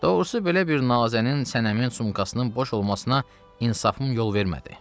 Doğrusu, belə bir nazənin, sənəmin sumkasının boş olmasına insafım yol vermədi.